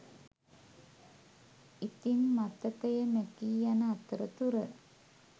ඉතින් මතකය මැකී යන අතර තුර